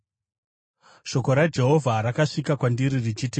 Shoko raJehovha rakasvika kwandiri richiti,